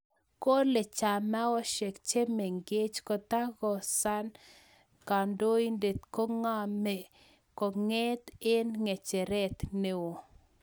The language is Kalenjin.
Kole chamaoshek che mengech koitangasan kandoindet kagame konget eng ngecheret neoo.